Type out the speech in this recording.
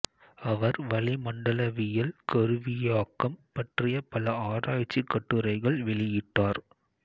அவர் வளிமண்டலவியல் கருவியாக்கம் பற்றிய பல ஆராய்ச்சி கட்டுரைகள் வெளியிட்டார்